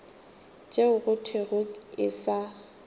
tšeo go thwego e sa